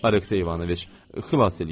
Aleksey İvanoviç, xilas eləyin!